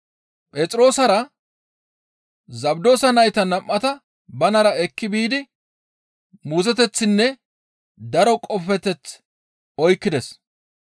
Phexroosara Zabdoosa nayta nam7ata banara ekki biidi muuzoteththinne daro qofeteth oykkides.